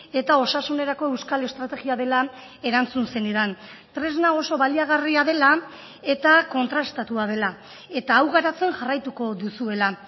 eta osasunerako euskal estrategia dela erantzun zenidan tresna oso baliagarria dela eta kontrastatua dela eta hau garatzen jarraituko duzuela